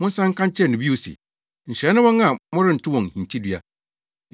Monsan nka nkyerɛ no bio se, Nhyira ne wɔn a merento wɔn hintidua.”